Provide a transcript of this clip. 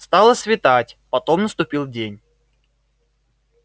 стало светать потом наступил день